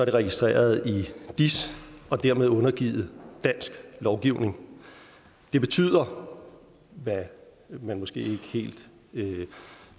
registreret i dis og dermed undergivet dansk lovgivning det betyder hvad man måske ikke helt